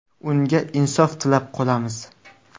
Unga insof tilab qolamiz.